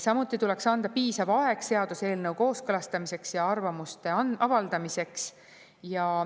Samuti tuleks anda piisav aeg seaduseelnõu kooskõlastamiseks ja arvamuste avaldamiseks.